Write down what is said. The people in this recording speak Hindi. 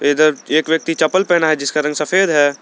इधर एक व्यक्ति चपल पहना है जिसका रंग सफेद है।